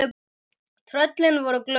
Tröllin voru glöð.